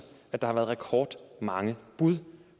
at der har været rekordmange bud